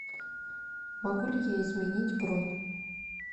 могу ли я изменить бронь